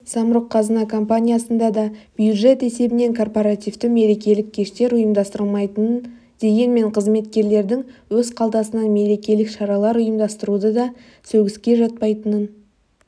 самрұқ-қазына компаниясында да бюджет есебінен корпаративті мерекелік кештер ұйымдастырылмайтынын дегенмен қызметкерлердің өз қалтасынан мерекелік шаралар ұйымдастыруы да сөгіске жатпайтынын